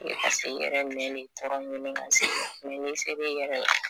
F'e ka se yɛrɛ nɛn ne tɔɔrɔ ɲini ka se i ma mɛ n'i ser' i yɛrɛ la